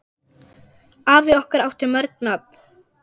Afi okkar átti mörg nöfn.